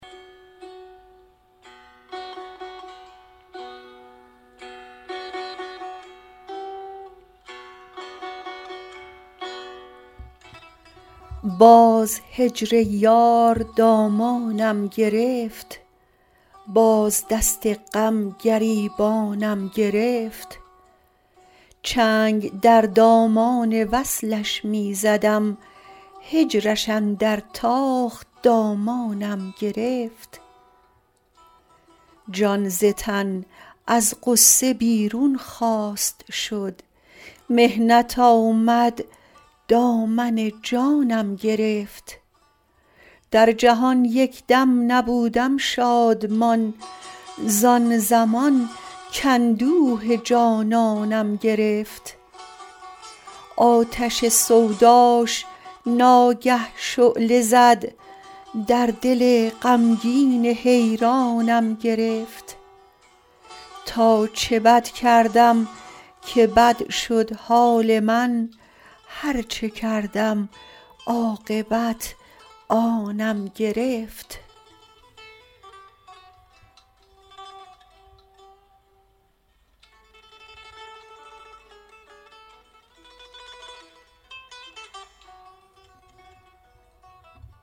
باز هجر یار دامانم گرفت باز دست غم گریبانم گرفت چنگ در دامان وصلش می زدم هجرش اندر تاخت دامانم گرفت جان ز تن از غصه بیرون خواست شد محنت آمد دامن جانم گرفت در جهان یک دم نبودم شادمان زان زمان کاندوه جانانم گرفت آتش سوداش ناگه شعله زد در دل غمگین حیرانم گرفت تا چه بد کردم که بد شد حال من هرچه کردم عاقبت آنم گرفت